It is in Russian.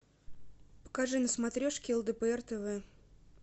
покажи на смотрешке лдпр тв